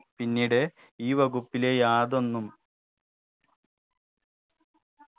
പിന്നീട് ഈ വകുപ്പിലെ യാതൊന്നും